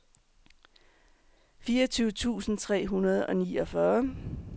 fireogtyve tusind tre hundrede og niogfyrre